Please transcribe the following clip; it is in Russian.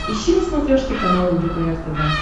ищи на смотрешке канал лдпр тв